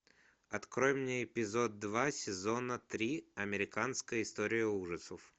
открой мне эпизод два сезона три американская история ужасов